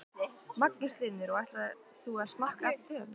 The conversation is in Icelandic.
Magnús Hlynur: Og ætlar þú að smakka allar tegundirnar?